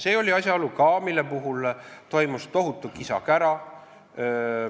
See oli ka asjaolu, mille pärast oli tohutu kisa-kära.